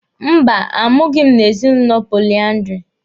Mba, a mụghị m n'ezinụlọ poliandiri.